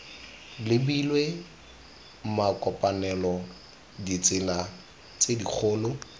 lebilwe makopanelo ditsela tse dikgolo